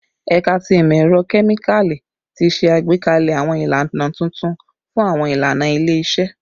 Ẹka ti Imọ-ẹrọ Kemikali ti ṣe agbekalẹ awọn ilana tuntun fun awọn ilana ile-iṣẹ